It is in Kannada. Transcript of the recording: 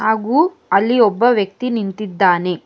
ಹಾಗು ಅಲ್ಲಿ ಒಬ್ಬ ವ್ಯಕ್ತಿ ನಿಂತಿದ್ದಾನೆ.